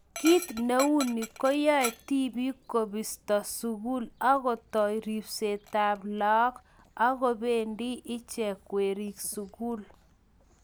kiit ne uni ko yoe tibik kobisto sukul akutou ribsetab laak aku bendi icheke werik sukul